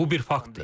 Bu bir faktdır.